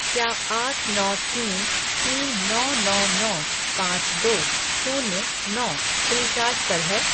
क्या आठ नौ तीन तीन नौ नौ नौ पाँच दो शून्य नौ फ़्रीचार्ज पर है?